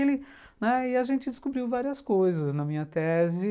como é que ele, E a gente descobriu várias coisas na minha tese.